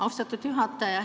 Austatud juhataja!